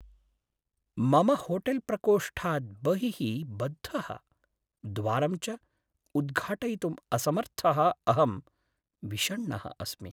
मम होटेल्प्रकोष्ठात् बहिः बद्धः, द्वारं च उद्घाटयितुम् असमर्थः अहं विषण्णः अस्मि।